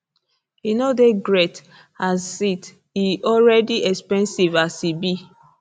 e no dey great is it e already expensive as e be